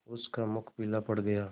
उसका मुख पीला पड़ गया